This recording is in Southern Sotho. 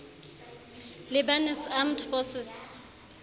lebanese armed forces